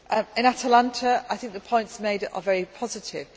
peace. On Atalanta I think the points made there are very positive.